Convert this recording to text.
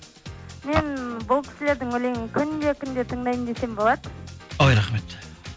мен бұл кісілердің өлеңін күнде күнде тыңдаймын десем болады ой рахмет